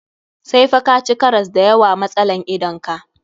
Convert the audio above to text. Sai fa ka ci karas da yawa wa matsalan idan ka.